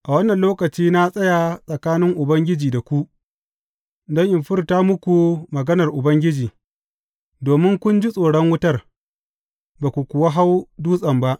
A wannan lokaci na tsaya tsakanin Ubangiji da ku, don in furta muku maganar Ubangiji, domin kun ji tsoron wutar, ba ku kuwa hau dutsen ba.